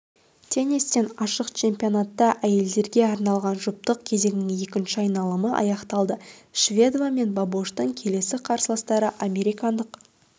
теннистен ашық чемпионатта әйелдер арналған жұптық кезеңнің екінші айналымы аяқталды шведова мен бабошның келесі қарсыластары американдық